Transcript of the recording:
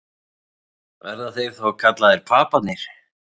Verða þeir þá kallaðir Paparnir?